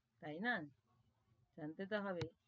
তাই না, জানতে তো হবেই,